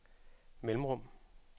mellemrum